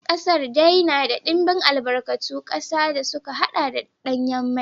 Kasar dai na da dimbin albarkatun kasa da suka haɗa da danyen mai.